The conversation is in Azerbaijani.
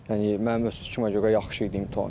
Yəni mənim öz fikrimə görə yaxşı idi imtahan.